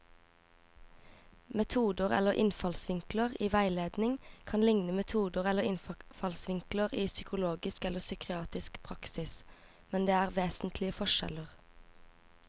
Metoder eller innfallsvinkler i veiledning kan likne metoder eller innfallsvinkler i psykologisk eller psykiatrisk praksis, men det er vesentlige forskjeller.